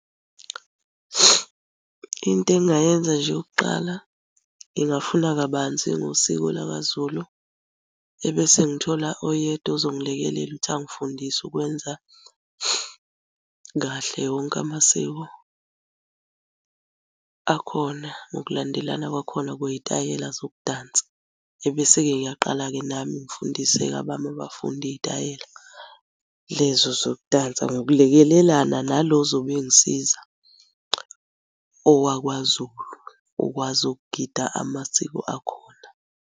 Into engingayenza nje yokuqala, ngingafunda kabanzi ngosiko lakaZulu, ebese ngithola oyedwa ozongilekelela ukuthi angifundise ukwenza kahle wonke amasiko akhona ngokulandelana kwakhona kwey'tayela zokudansa. Ebese-ke ngiyaqala-ke nami ngifundise-ke abami abafundi iy'tayela lezo zokudansa ngokulekelelana nalo ozobe engisiza owakwaZulu okwazi ukugida amasiko akhona.